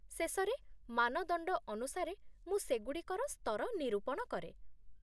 ଶେଷରେ, ମାନଦଣ୍ଡ ଅନୁସାରେ ମୁଁ ସେଗୁଡ଼ିକର ସ୍ତର ନିରୂପଣ କରେ